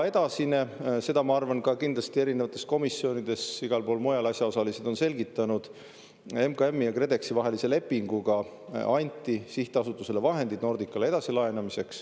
Edasi – ma arvan, et kindlasti erinevates komisjonides, igal pool mujal asjaosalised on selgitanud –, MKM-i ja KredExi vahelise lepinguga anti sihtasutusele vahendid Nordicale edasilaenamiseks.